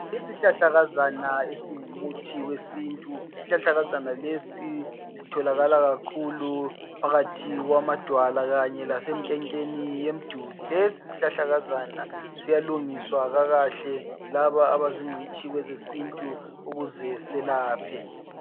Isihlahlakazana esingumuthi wesintu isihlahlakazana lesi sitholakala kakhulu phakathi kwamadwala kanye lasemkekeni yemduli lesi sihlahlakazana siyalungiswa kakahle laba abayizingcitshi kwezesintu ukuze selaphe.